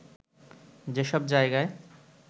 যেসব জায়গায়